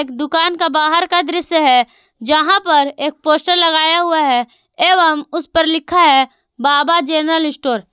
दुकान का बाहर का दृश्य है जहां पर एक पोस्टर लगाया हुआ हैं एवं उस पर लिखा है बाबा जनरल स्टोर ।